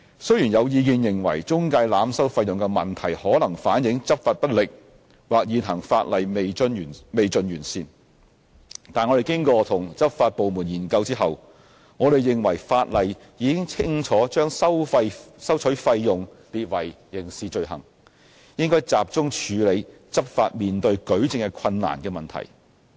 雖然有意見認為中介濫收費用的問題可能反映執法不力或現行法例未盡完善，但經與執法部門研究後，我們認為法例已清楚將收取費用列為刑事罪行，應該集中處理執法面對舉證困難的問題。